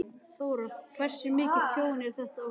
Þóra: Hversu mikið tjón er þetta á húsinu?